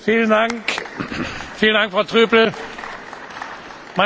Meine Damen und Herren, ich darf Sie nochmals bitten, Ihre Plätze einzunehmen.